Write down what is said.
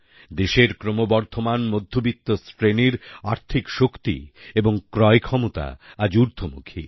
দেশের ক্রমবর্ধমান মধ্যবিত্তশ্রেণির আর্থিক শক্তি এবং ক্রয় ক্ষমতা আজ উর্দ্ধমুখী